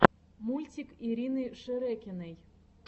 мультик ирины шерекиной